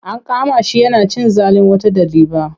An kama shi yana cin zalin wata ɗaliba.